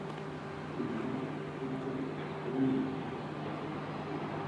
Pimanetab tupchondit ko mi eng' kanyoisetab kila.